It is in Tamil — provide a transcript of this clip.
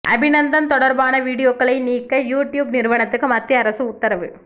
அபிநந்தன் தொடர்பான வீடியோக்களை நீக்க யூடியூப் நிறுவனத்துக்கு மத்திய அரசு உத்தரவு